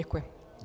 Děkuji.